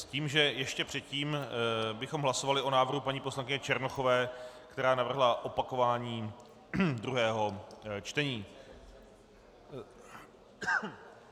S tím, že ještě předtím bychom hlasovali o návrhu paní poslankyně Černochové, která navrhla opakování druhého čtení.